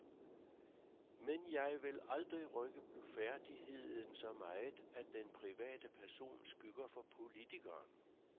Men jeg vil aldrig rykke blufærdigheden så meget, at den private person skygger over politikeren.